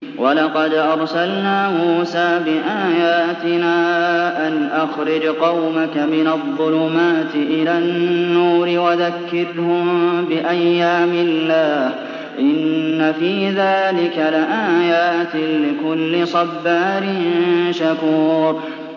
وَلَقَدْ أَرْسَلْنَا مُوسَىٰ بِآيَاتِنَا أَنْ أَخْرِجْ قَوْمَكَ مِنَ الظُّلُمَاتِ إِلَى النُّورِ وَذَكِّرْهُم بِأَيَّامِ اللَّهِ ۚ إِنَّ فِي ذَٰلِكَ لَآيَاتٍ لِّكُلِّ صَبَّارٍ شَكُورٍ